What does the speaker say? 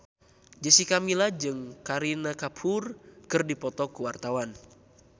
Jessica Milla jeung Kareena Kapoor keur dipoto ku wartawan